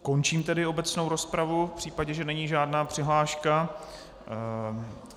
Končím tedy obecnou rozpravu v případě, že není žádná přihláška.